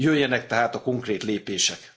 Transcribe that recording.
Jöjjenek tehát a konkrét lépések.